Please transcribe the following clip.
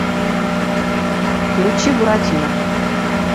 включи буратино